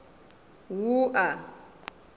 wua